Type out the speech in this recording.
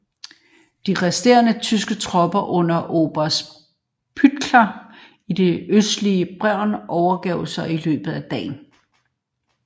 De resterende tyske tropper under oberst Pietzonka i det østlige Brest overgav sig i løbet af dagen